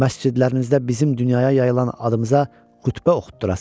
Məscidlərinizdə bizim dünyaya yayılan adımıza xütbə oxutdurasan.